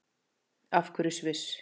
Af hverju Sviss?